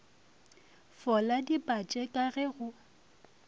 fola dipatše ka ge go